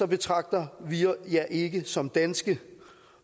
betragter vi jer ikke som danske